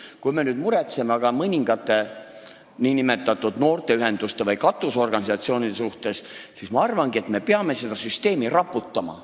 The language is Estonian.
Kui me nüüd muretseme aga mõningate nn noorteühenduste või katusorganisatsioonide pärast, siis ma arvan, et me peamegi seda süsteemi raputama.